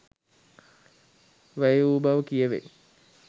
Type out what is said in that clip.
වැය වූ බව කියැවෙයි.